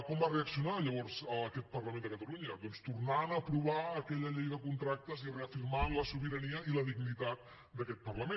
com va reaccionar llavors aquest parlament de catalunya doncs tornant a aprovar aquella llei de contractes i reafirmant la sobirania i la dignitat d’aquest parlament